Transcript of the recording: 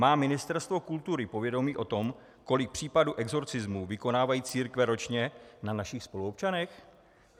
Má Ministerstvo kultury povědomí o tom, kolik případů exorcismu vykonávají církve ročně na našich spoluobčanech?